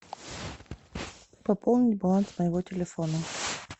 пополни баланс моего телефона